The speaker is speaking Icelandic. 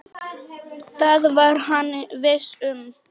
Það var hann viss um.